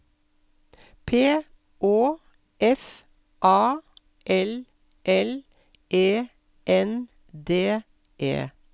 P Å F A L L E N D E